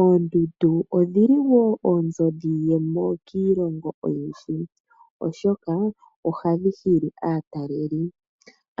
Oondundu odhili wo oonzo dhiiyemo kiilongo oyindji, oshoka ohadhi hili aataleli.